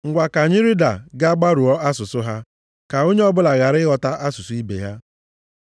Ngwa, ka anyị rịda gaa gbarụọ asụsụ ha, ka onye o bụla ghara ịghọta asụsụ ibe ya.”